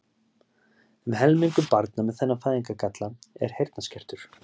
Um helmingur barna með þennan fæðingargalla er heyrnarskertur.